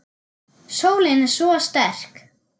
Sólin er svo sterk.